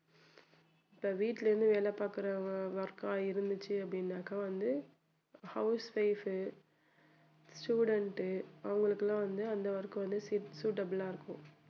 இப்போ வீட்ல இருந்து வேலை பார்க்கிற work ஆ இருந்துச்சு அப்படின்னாக்க வந்து housewife, student உ அவங்களுக்கெல்லாம் வந்து அந்த work உ வந்து suitable ஆ இருக்கும்